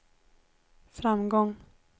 framgång